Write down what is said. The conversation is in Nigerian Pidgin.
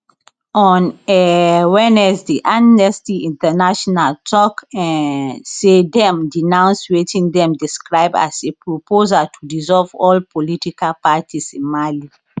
on um wednesday amnesty international tok um say dem denounce wetin dem describe as a proposal to dissolve all political parties in mali